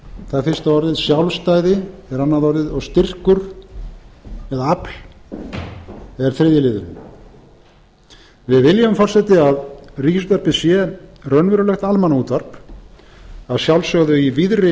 það er fyrsta orðið sjálfstæði er annað orðið og styrkur eða afl er þriðji liðurinn við viljum forseti að ríkisútvarpið sé raunverulegt almannaútvarp að sjálfsögðu í víðri